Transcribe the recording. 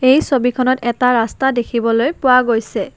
এই ছবিখনত এটা ৰাস্তা দেখিবলৈ পোৱা গৈছে।